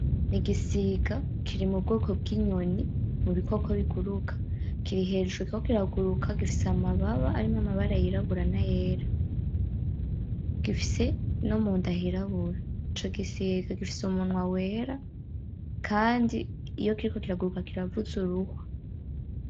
Igisiga kiri mubwoko bw'inyoni mubikoko biguruka. Kiri hejuru kiriko kiraguruka gifise amababa arimwo amabara y'irabura n'ayera. Gifise no mu nda hirabura. Ico gisiga gifise umunwa wera kandi iyo kiriko kiraguruka kiravuza uruhwa.